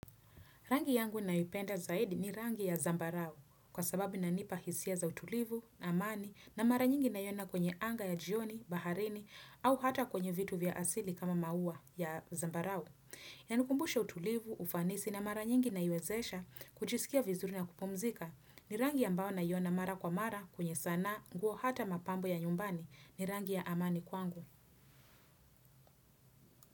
Rangi yangu ninayoipenda zaidi ni rangi ya zambarau kwa sababu inanipa hisia za utulivu, amani na mara nyingi naiona kwenye anga ya jioni, baharini au hata kwenye vitu vya asili kama maua ya zambarau. Yanikumbusha utulivu, ufanisi na mara nyingi naiwezesha kujisikia vizuri na kupumzika ni rangi ambao naiona mara kwa mara kwenye sana nguo hata mapambo ya nyumbani ni rangi ya amani kwangu.